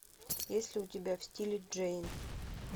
есть ли у тебя в стиле джейн